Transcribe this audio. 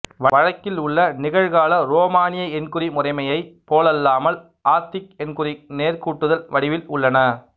வழக்கில் உள்ள நிகழ்கால உரோமானிய எண்குறி முரைமையைப் போலல்லாமல் ஆத்திக் எண்குறிகள் நேர்கூட்டுதல் வடிவில் உள்ளன